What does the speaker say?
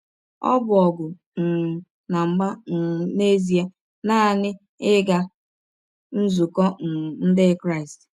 Ọ bụ ọgụ um na mgba um n’ezie nanị ịga nzụkọ um ndị Kristị.